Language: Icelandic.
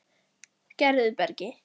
Gerðubergi